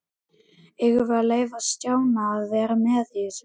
Eigum við að leyfa Stjána að vera með í þessu?